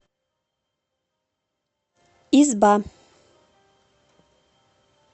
изба